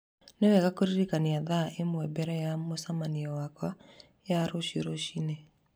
Nĩ wega kũririkania thaa ĩmwe mbere ya mũcemanio wakwa ya rũciũ rũcinĩ